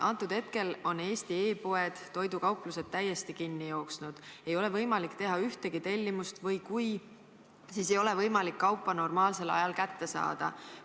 Antud hetkel on Eesti e-poed, toidukauplused täiesti kinni jooksnud, ei ole võimalik teha ühtegi tellimust või kui ongi, siis ei ole võimalik kaupa normaalsel ajal kätte saada.